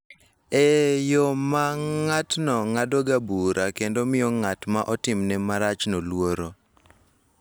E yo ma ng�atno ng�adogo bura kendo miyo ng�at ma otimne marachno luoro.